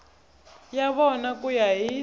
ya vona ku ya hi